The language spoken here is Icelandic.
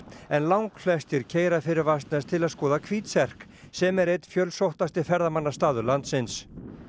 en langflestir keyra fyrir Vatnsnes til að skoða hvítserk sem er einn fjölsóttasti ferðamannastaður landsins